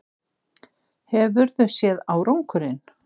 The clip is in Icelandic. Hefurðu séð árangurinn?